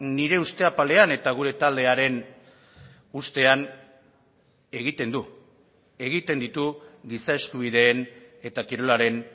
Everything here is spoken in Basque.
nire uste apalean eta gure taldearen ustean egiten du egiten ditu giza eskubideen eta kirolaren